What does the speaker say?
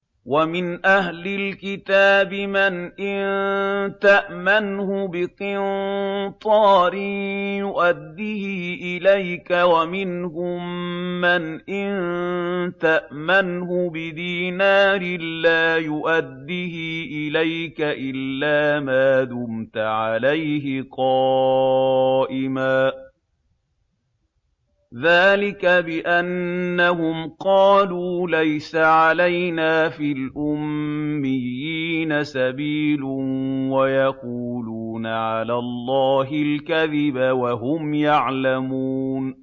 ۞ وَمِنْ أَهْلِ الْكِتَابِ مَنْ إِن تَأْمَنْهُ بِقِنطَارٍ يُؤَدِّهِ إِلَيْكَ وَمِنْهُم مَّنْ إِن تَأْمَنْهُ بِدِينَارٍ لَّا يُؤَدِّهِ إِلَيْكَ إِلَّا مَا دُمْتَ عَلَيْهِ قَائِمًا ۗ ذَٰلِكَ بِأَنَّهُمْ قَالُوا لَيْسَ عَلَيْنَا فِي الْأُمِّيِّينَ سَبِيلٌ وَيَقُولُونَ عَلَى اللَّهِ الْكَذِبَ وَهُمْ يَعْلَمُونَ